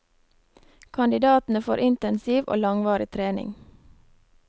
Kandidatene får intensiv og langvarig trening.